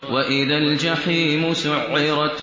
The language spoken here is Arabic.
وَإِذَا الْجَحِيمُ سُعِّرَتْ